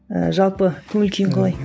ііі жалпы көңіл күйің қалай